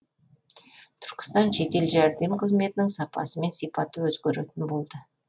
түркістандық жедел жәрдем қызметінің сапасы мен сипаты өзгеретін болды